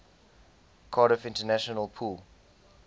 cardiff international pool